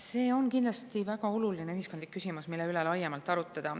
See on kindlasti väga oluline ühiskondlik küsimus, mille üle laiemalt arutada.